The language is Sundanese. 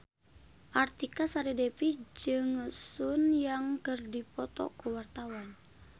Artika Sari Devi jeung Sun Yang keur dipoto ku wartawan